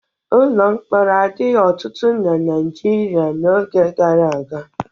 Ụlọ mkpọrọ adịghị ọtụtụ na Naịjirịa n'oge gara aga.